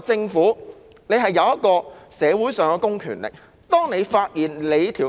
政府有社會上的公權力，當你發現